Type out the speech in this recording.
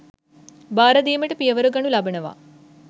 බාර දීමට පියවර ගනු ලබනවා